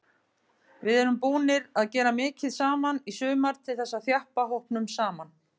Við erum búnir að gera mikið saman í sumar til þess að þjappa hópnum saman.